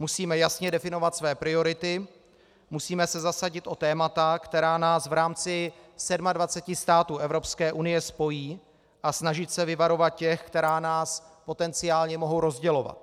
Musíme jasně definovat své priority, musíme se zasadit o témata, která nás v rámci 27 států Evropské unie spojí, a snažit se vyvarovat těch, která nás potenciálně mohou rozdělovat.